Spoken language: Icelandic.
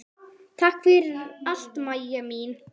Takk fyrir allt, Mæja mín.